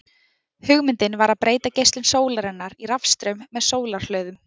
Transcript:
Hugmyndin var að breyta geislun sólarinnar í rafstraum með sólarhlöðum.